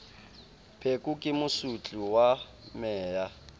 pheko ke mosotli wa meya